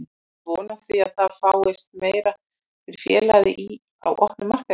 Áttu von á því að það fáist meira fyrir félagið í, á opnum markaði?